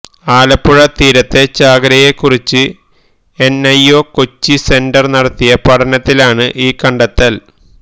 ആലപ്പുഴ തീരത്തെ ചാകരയെ കുറിച്ച് N I O Kochi centre നടത്തിയ പഠനത്തിലാണ് ഈ കണ്ടെത്തല്